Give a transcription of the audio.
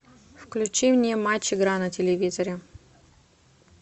включи мне матч игра на телевизоре